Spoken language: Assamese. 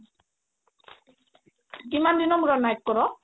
কিমান দিনৰ মোৰত night কৰো